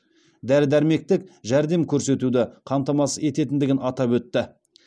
дәрі дәрмектік жәрдем көрсетуді қамтамасыз ететіндігін атап өтті